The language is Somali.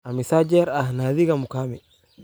Immisa jir ah Nadia Mukami?